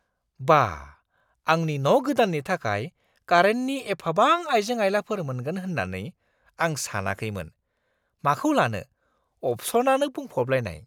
बा, आंनि न' गोदान्नि थाखाय कारेन्टनि एफाबां आइजें-आइलाफोर मोनगोन होन्नानै आं सानखैमोन- माखौ लानो, अपसनआनो बुंफबलायनाय!